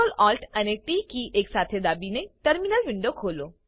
Ctrl Alt અને T કીઓ એક સાથે દાબીને ટર્મિનલ ખોલો